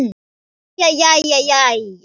Jæja, jæja.